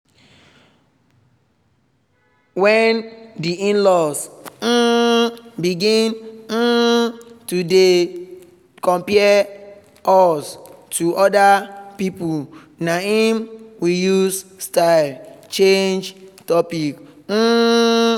when the in-laws um begin um to dey compare us to other people na im we use style change topic um